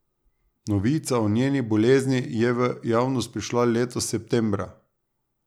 Novica o njeni bolezni je v javnost prišla letos septembra.